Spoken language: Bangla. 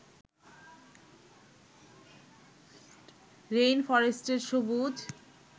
রেইনফরেস্টের সবুজ